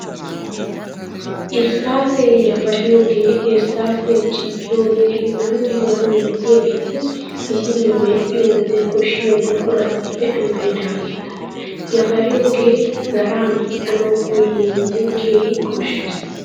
Irsssaasee, yafariyogee, irssaasiya ciggiyogee hegaanne hegaa milatiyaageeti misiliyaa medhdhiyo wode koshshiya buquratuppe amaridaageeta. Yafariyogee zaraa medhdhanawu koyiyo wode keehi koshshees.